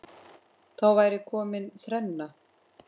Þá væri komin þrenna.